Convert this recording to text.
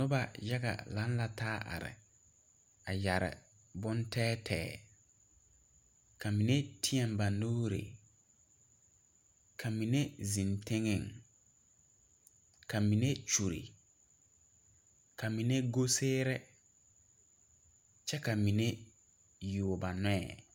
Enyuo aneŋ dapaaloŋ zie la a kyɛ nyɛ baapaaba naŋ are are ja ba mine zuune zuune ka ba mine go go kyɛ baŋ yaare ba nuure ka ba mine meŋ teɛ ba nuure ka a duoro sagban ka ba mine meŋ zeŋ teŋɛŋ kyɛ laara mosɛɛ mosɛɛ a di kɔlɔŋkɔlɔŋ ŋa poɔŋ.